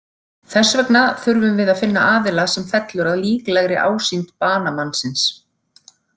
Þess vegna þurfum við að finna aðila sem fellur að líklegri ásýnd banamannsins.